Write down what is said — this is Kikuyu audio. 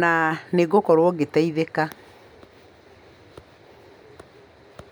na nĩ ngũkorwo ngĩteithĩka?